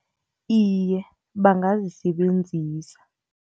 Iye, bangazisebenzisa.